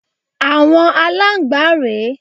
Àwọn Aláǹgbá rè é.